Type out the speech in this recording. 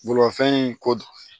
Bolimafɛn in ko